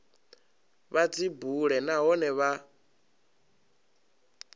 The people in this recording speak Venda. vha dzi bule nahone vha